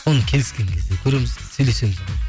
оны келіскен кезде көреміз сөйлесеміз ғой